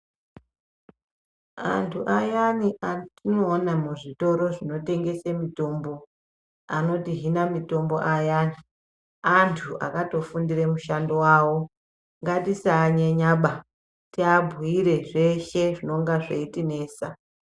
Antu ayani atinoona muzvitoro zvinotengese mitombo anotihina mitombo ayani. Antu akatofundire mushando vavo ngatisanyenyaba tiabhuire zveshe zvinonga zveitinesa.